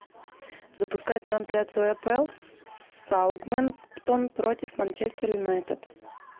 запускай трансляцию апл саутгемптон против манчестер юнайтед